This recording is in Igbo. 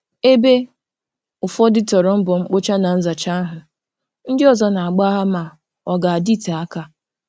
Ebe ụfọdụ toro mbọ mkpocha na nzacha ahụ, ndị ọzọ Na-agbagha ma ọ ga-adịte aka.